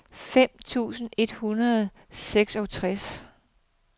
fem tusind et hundrede og seksogtres